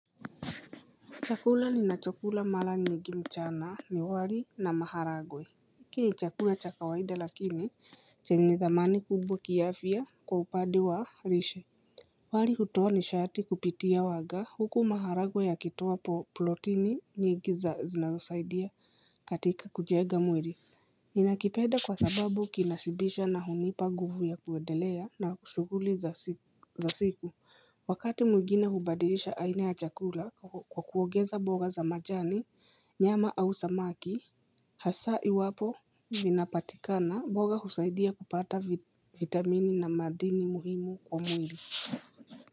Chakula nina chakula mara nyingi mchana ni wali na maharagwe. Iki ni chakula cha kawaida lakini chenye thamani kubwa kiafya kwa upande wa lishe. Wali hutoa nishati kupitia waga huku maharagwe yakitoa plotini nyingi za zinazosaidia katika kujenga mwili. Ninakipenda kwa sababu kinashibisha na hunipa ngufu ya kuendelea na shughuli za siku. Wakati mwingine hubadilisha aina ya chakula kwa kuogeza mboga za majani, nyama au samaki, hasa iwapo vinapatikana mboga husaidia kupata vitamini na madini muhimu kwa mwili.